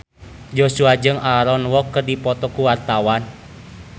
Joshua jeung Aaron Kwok keur dipoto ku wartawan